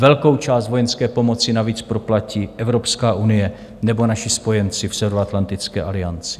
Velkou část vojenské pomoci navíc proplatí Evropská unie nebo naši spojenci v Severoatlantické alianci.